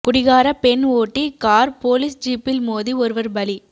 குடிகார பெண் ஓட்டி கார் போலீஸ் ஜீப்பில் மோதி ஒருவர் பலி